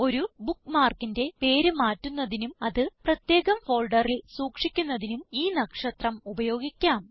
ഒരു bookmarkന്റെ പേര് മാറ്റുന്നതിനും അത് പ്രത്യേകം ഫോൾഡറിൽ സൂക്ഷിക്കുന്നതിനും ഈ നക്ഷത്രം ഉപയോഗിക്കാം